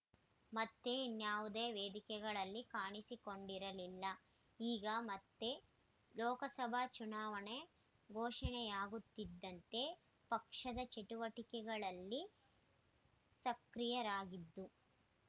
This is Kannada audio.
ಮತ್ತೆ ಇನ್ಯಾವುದೇ ವೇದಿಕೆಗಳಲ್ಲಿ ಕಾಣಿಸಿಕೊಂಡಿರಲಿಲ್ಲ ಈಗ ಮತ್ತೆ ಲೋಕಸಭಾ ಚುನಾವಣೆ ಘೋಷಣೆಯಾಗುತ್ತಿದ್ದಂತೆ ಪಕ್ಷದ ಕಾರ್ಯಚಟುವಟಿಕೆಯಲ್ಲಿ ಸಕ್ರಿಯರಾಗಿದ್ದು